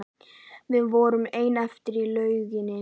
Við vorum ein eftir í lauginni.